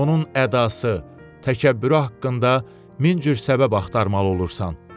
Onun ədası, təkəbbürü haqqında min cür səbəb axtarmalı olursan.